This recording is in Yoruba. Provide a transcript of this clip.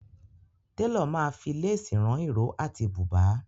Télọ̀ ma fi lésì rán ìró àti bùbà.